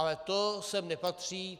Ale to sem nepatří.